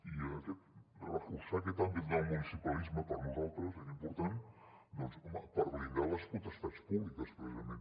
i reforçar aquest àmbit del municipalisme per nosaltres era important doncs home per blindar les potestats públiques precisament